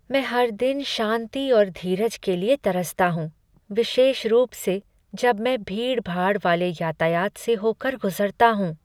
मैं हर दिन शांति और धीरज के लिए तरसता हूँ, विशेष रूप से जब मैं भीड़ भाड़ वाले यातायात से होकर गुजरता हूँ।